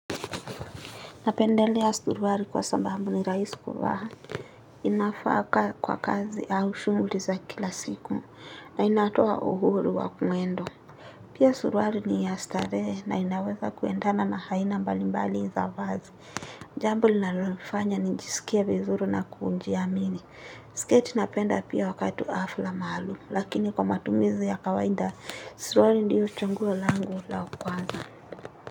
Napendelea suruali kwa sababu ni rahisi kuvaa. Ninavaa ka kwa kazi au shughuli za kila siku. Na inatoa uhuru wa mwendo. Pia suruali ni ya starehe na inaweza kuendana na aina mbalimbali za vazi. Jambo linalofanya nijisikie vizuri na kujiamini. Skate napenda pia wakati wa hafla maalum. Lakini kwa matumizi ya kawaida suruali ndio chaguo langu la kwanza.